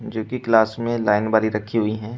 जो कि क्लास में लाइन बनी रखी हुई हैं।